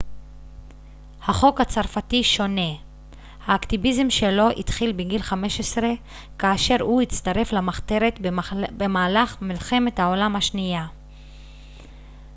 החוק הצרפתי שונה האקטיביזם שלו התחיל בגיל 15 כאשר הוא הצטרף למחתרת במהלך מלחמת העולם השנייה